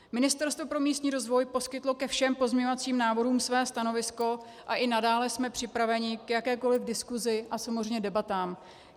Ministerstvo pro místní rozvoj poskytlo ke všem pozměňovacím návrhům své stanovisko a i nadále jsme připraveni k jakékoliv diskusi a samozřejmě debatám.